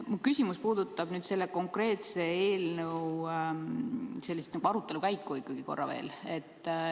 Mu küsimus puudutab ikkagi korra veel selle konkreetse eelnõu arutelu käiku.